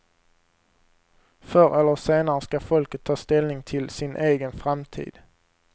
Förr eller senare ska folket ta ställning till sin egen framtid.